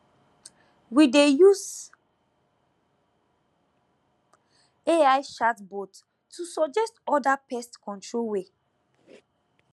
we dey use ai chatbot to suggest other pest control way